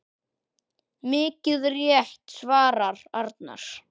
Mikið rétt svarar Arnar.